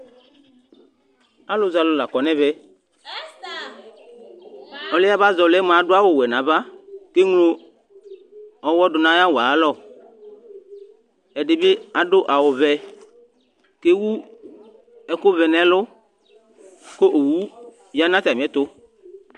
Alʊzɛalʊ la ƙɔ ŋɛʋɛ Ɔlɩɛ aba zɛ ɔlɩɛ mʊa adʊ awʊ wɛ naʋa, keglo ɔyɔ dʊŋʊ aƴʊ awʊ ayalɔ 3dɩɓɩ adʊ awʊ ʋɛ, kewʊ ekʊ ʋɛ ŋʊ ɛlʊ ƙʊ owʊ ya ŋʊ atamɩɛtʊ